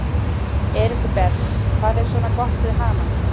Elísabet: Hvað er svona gott við hana?